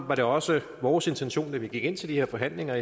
var det også vores intention da vi gik ind til de her forhandlinger